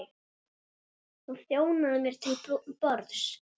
Hún þjónaði mér til borðs.